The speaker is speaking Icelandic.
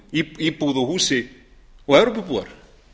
íbúð og húsi og evrópubúar